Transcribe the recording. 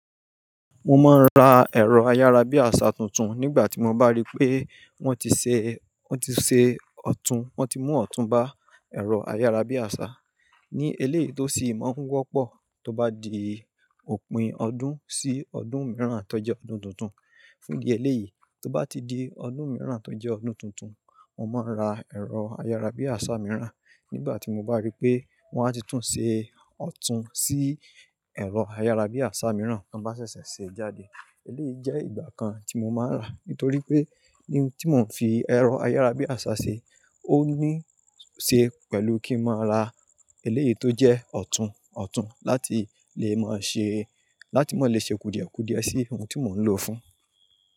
Mo máa ń ra ẹ̀rọ ayárabíàṣá tuntun nígbà tí mo bá rí pé wón ti ṣe, wón ti ṣe ọ̀tún, wón ti mú ọ̀tún bá ẹ̀rọ ayárabíàṣá. Ní eléyìí tó sì máa ń wọ́pọ̀ tó bá di òpin ọdún sí ọdún mìíràn tó jẹ́ ọdún tuntun. Fúndí eléyìí tó bá ti di ọdún mìíràn tó jẹ́ ọdún tuntun, mo máa ń ra ẹ̀rọ ayárabíàṣá mìíràn nígbà tí mo bá rí pé wón á ti tún ṣe ọ̀tún sí ẹ̀rọ ayárabíàṣá mìíràn tí wọ́n bá ṣẹ̀ṣẹ̀ ṣe jáde. Eléyìí jẹ́ ìgbà kan tí mo máa ń rà, nítorí pé ihun tí mò ń fi ẹ̀rọ ayárabíàṣá ṣe ó ní ṣe pẹ̀lú kí màá ra eléyìí tó jẹ́ ọ̀tún ọ̀tún láti lè máa ṣe, láti mó lè ṣe kùdìẹ̀kùdìẹ sí ohun tí mò ń lòó fún.